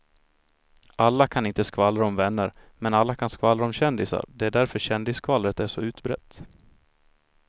Alla kan inte skvallra om vänner men alla kan skvallra om kändisar, det är därför kändisskvallret är så utbrett.